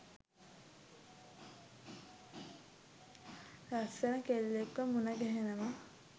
ලස්සන කෙල්ලෙක්ව මුණගැහෙනවා.